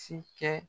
Si kɛ